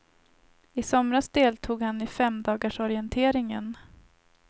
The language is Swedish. I somras deltog han i femdagarsorienteringen.